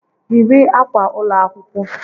Yiri akwa ụlọ akwụkwọ!